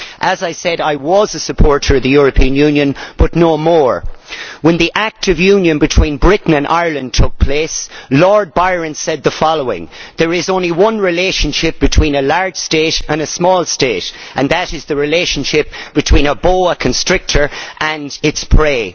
As I said, I was a supporter of the European Union, but no more. When the Act of Union between Britain and Ireland took place, Lord Byron said the following There is only one relationship between a large state and small state, and that is the relationship between a boa constrictor and its prey'.